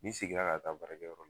Ni segin la ka taa barakɛyɔrɔ la.